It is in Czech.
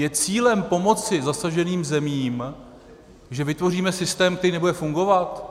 Je cílem pomoci zasaženým zemím, že vytvoříme systém, který nebude fungovat?